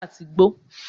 Lọ fa sìgá àti igbó.